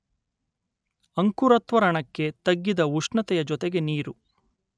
ಅಂಕುರತ್ವರಣಕ್ಕೆ ತಗ್ಗಿದ ಉಷ್ಣತೆಯ ಜೊತೆಗೆ ನೀರು